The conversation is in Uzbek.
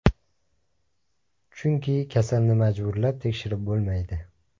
Chunki kasalni majburlab tekshirib bo‘lmaydi.